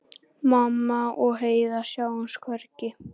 Mamma og Heiða sáust hvergi.